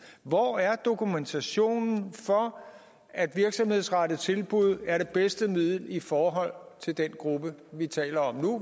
hvor er dokumentationen for at virksomhedsrettede tilbud er det bedste middel i forhold til den gruppe vi taler om nu